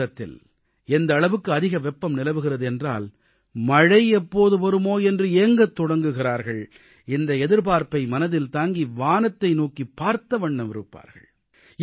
June மாதத்தில் எந்த அளவுக்கு அதிக வெப்பம் நிலவுகிறது என்றால் மழை எப்போது வருமோ என்று ஏங்கத் தொடங்குகிறார்கள் இந்த எதிர்பார்ப்பை மனதில் தாங்கி வானத்தை நோக்கிப் பார்த்தவண்ணம் இருப்பார்கள்